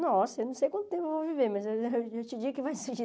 Nossa, eu não sei quanto tempo eu vou viver, mas eu eu te digo que vai surgir